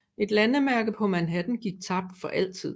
Et landemærke på Manhattan gik tabt for altid